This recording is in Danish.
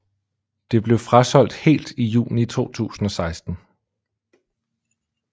Det blev frasolgt helt i juni 2016